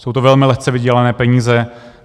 Jsou to velmi lehce vydělané peníze.